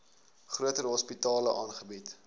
groter hospitale aangebied